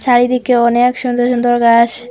চারিদিকে অনেক সুন্দর সুন্দর গাস--